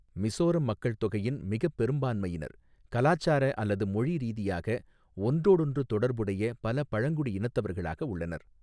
மிசோரம் மக்கள்தொகையின் மிகப் பெரும்பான்மையினர் கலாச்சார அல்லது மொழி ரீதியாக ஒன்றோடொன்று தொடர்புடைய பல பழங்குடி இனத்தவர்களாக உள்ளனர்.